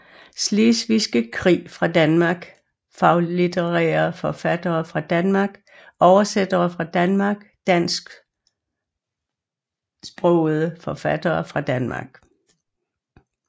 Slesvigske Krig fra Danmark Faglitterære forfattere fra Danmark Oversættere fra Danmark Dansksprogede forfattere fra Danmark